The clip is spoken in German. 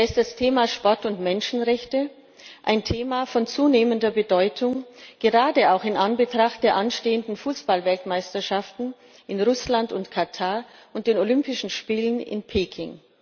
Da ist das Thema Sport und Menschenrechte, ein Thema von zunehmender Bedeutung, gerade auch in Anbetracht der anstehenden Fußballweltmeisterschaften in Russland und Katar und den Olympischen Spielen in Peking.